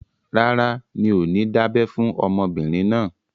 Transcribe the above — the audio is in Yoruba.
Rárá, mi ò ní dábẹ́ fún ọmọbìnrin náà